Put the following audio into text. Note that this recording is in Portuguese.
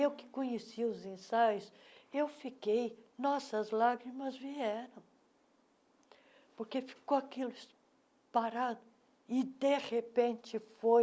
Eu que conheci os ensaios, eu fiquei... Nossa as lágrimas vieram, porque ficou aquilo parado e, de repente, foi...